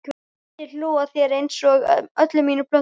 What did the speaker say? Ég skyldi hlú að þér einsog öllum mínum plöntum.